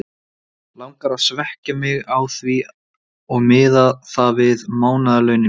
Langar að svekkja mig á því og miða það við mánaðarlaunin mín!